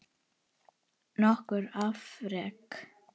Nokkur afrek